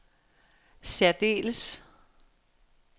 særdeles